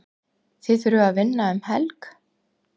Þið þurfið að vinna um helg?